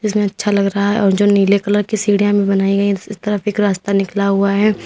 अच्छा लग रहा है और जो नीले कलर की सीढ़ियां भी बनाई गई हैं इस तरफ एक रास्ता निकाला हुआ है।